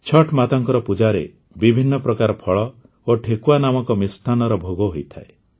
ଛଠ୍ ମାତାଙ୍କ ପୂଜାରେ ବିଭିନ୍ନ ପ୍ରକାର ଫଳ ଓ ଠେକୁଆ ନାମକ ମିଷ୍ଟାନ୍ନର ଭୋଗ ହୋଇଥାଏ